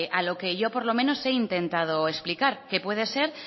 a lo que yo al menos he intentado explicar que puede ser